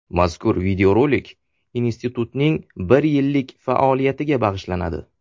Mazkur videorolik institutning bir yillik faoliyatiga bag‘ishlanadi.